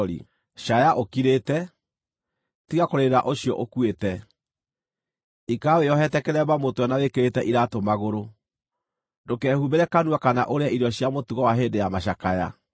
Caaya ũkirĩte; tiga kũrĩrĩra ũcio ũkuĩte. Ikara wĩohete kĩremba mũtwe na wĩkĩrĩte iraatũ magũrũ; ndũkehumbĩre kanua kana ũrĩe irio cia mũtugo wa hĩndĩ ya macakaya.”